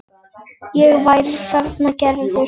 Ég væri þannig gerður.